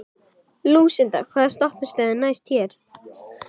Lúsinda, hvaða stoppistöð er næst mér?